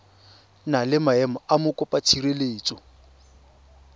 na le maemo a mokopatshireletso